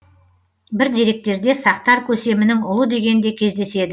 бір деректерде сақтар көсемінің ұлы деген де кездеседі